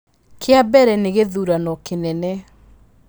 Kĩa mbere nĩ gĩthurano kĩnene.